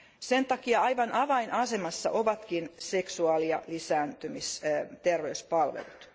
Sen takia aivan avainasemassa ovatkin seksuaali ja lisääntymisterveyspalvelut.